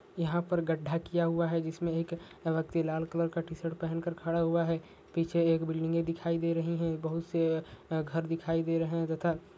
यहा पर गड्ढा किया हुआ है जिसमे एक व्यक्ति लाल कलर का टीशर्ट पहन कर खड़ा हुआ है पीछे एक बिल्डिंग दिखाई दे रही है बहुत से घर दिखाई रहा है तथा--